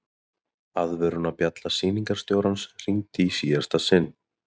Aðvörunarbjalla sýningarstjórans hringir í síðasta sinn.